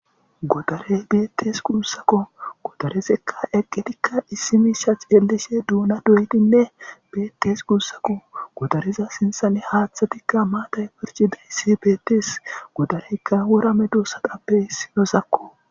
Godare beettes gusako godare eqqidika issi misha xeelishe dona doyidine beettes gusako godare sinthan haththayi maaththay beettes.godareka wora medosappe issinoko.